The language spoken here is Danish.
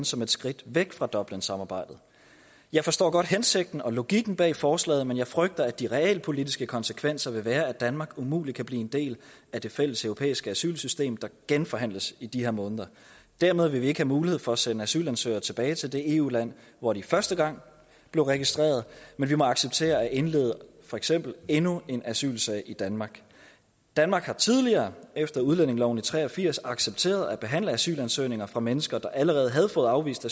som et skridt væk fra dublinsamarbejdet jeg forstår godt hensigten og logikken bag forslaget men jeg frygter at de realpolitiske konsekvenser vil være at danmark umuligt kan blive en del af det fælleseuropæiske asylsystem der genforhandles i de her måneder dermed vil vi ikke have mulighed for at sende asylansøgere tilbage til det eu land hvor de første gang blev registreret men må acceptere at indlede for eksempel endnu en asylsag i danmark danmark har tidligere efter udlændingeloven i nitten tre og firs accepteret at behandle asylansøgninger fra mennesker der allerede havde fået afvist